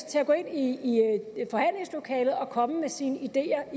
til at gå ind i forhandlingslokalet og komme med sine ideer